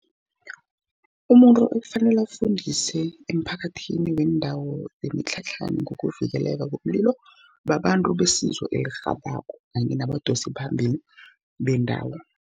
Umuntu okufanele afundise emphakathini wendawo yemitlhatlhana ngokuvikeleka komlilo, babantu besizo elirhabako, kanye nabadosiphambili bendawo.